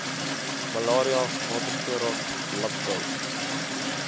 malaria watervoorraad landbou